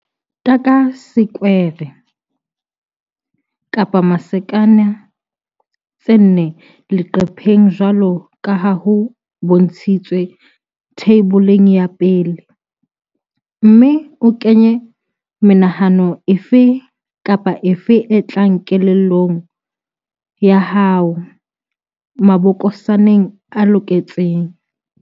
Taka disekwere, masakana, tse nne leqepheng jwalo ka ha ho bontshitswe Theiboleng ya 1, mme o kenye menahano efe kapa efe e tlang kelellong ya hao mabokosaneng a loketseng.